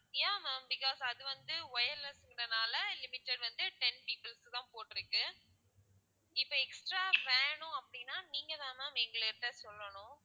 yeah ma'am because அது வந்து wireless ன்றதுனால limited வந்து ten people க்கு தான் போட்டிருக்கு இப்போ extra வேணும் அப்படின்னா நீங்கதான் ma'am எங்ககிட்ட சொல்லணும்.